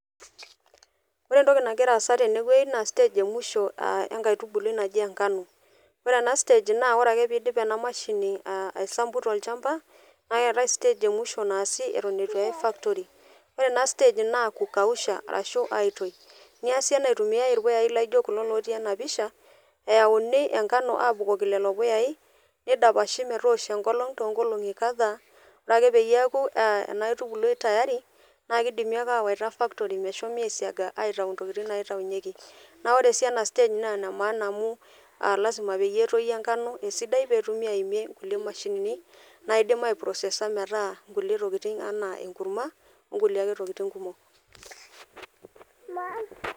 Ore entoki nagira aasa tene naa stage emwisho entoki nnaji enkano . Ore ena stage naa ore ake pidip emashini aisampu tolchamba , naa keetae stage emwisho naasi eton itu eyae factory . Ore ena stage naa kukausha arashu aitoyi , niasi ena eitumiay irpuyayi laijo lotii ena pisha , eyauni enkano metoosho lelo puyayi ,nidapashi metoosho enkolong ,toonkolong kadhaa , ore ake peaku ena aitubului tayari naa kidimi ake awaita factory mehomi aitayu ntokitin naitayunyieki . Naa ore sii ena stage naa ene maana amu lasima peyie etoyu enkano esidai petumi aimie nkulie mashinini naidim aiprocessor nkulie tokitin anaa enkurma enkulie ake tokitin kumok .